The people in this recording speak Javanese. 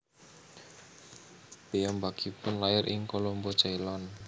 Piyamhbakipun lair ing Kolombo Ceylon